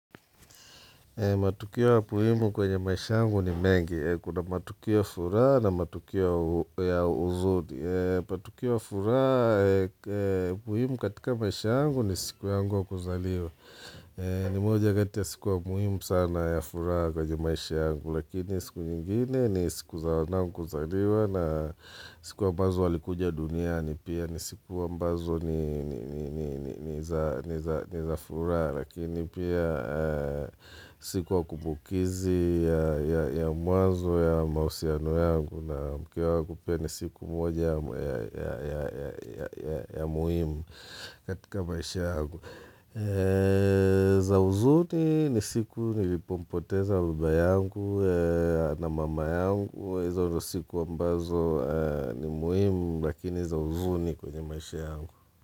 Matukio ya muhimu kwenye maisha yangu ni mengi. Kuna matukio ya furaha na matukioa ya huzuni. Matukio ya furaha muhimu katika maisha yangu ni siku yangu kuzaliwa. Ni moja kati ya siku ya muhimu sana ya furaha jwenye maisha yangu. Lakini siku nyingine ni siku za wanangu kuzaliwa na siku ambazo walikuja duniani. Ni pia ni siku ambazo ni zafuraha Lakini pia sikuy a kumbukizi ya mwanzo wa mahusiano yangu na mke wangu pia ni siku moja ya muhimu katika maisha yangu za huzuni ni siku nilipompoteza baba yangu na mama yangu hizo ndo siku ambazo ni muhimu lakini za huzuni kwenye maishi yangu.